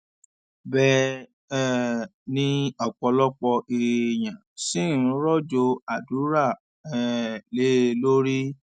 bẹẹ um ni ọpọlọpọ èèyàn ṣì ń rọjò àdúrà um lé e lórí